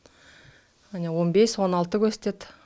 міне он бес он алты көрсетеді